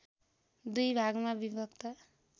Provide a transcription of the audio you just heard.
दुई भागमा विभक्त